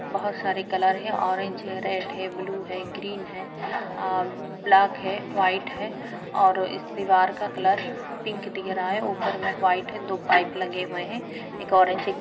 बहोत सारे कलर हैं ऑरेंज है रेड है ब्लू है ग्रीन है अ ब्लैक है वाइट है और इस दीवार का कलर पिंक दिख रहा है ऊपर में वाइट है। दो पाइप लगे हुए हैं। एक ऑरेंज एक --